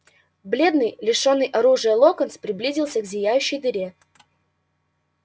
бледный лишённый оружия локонс приблизился к зияющей дыре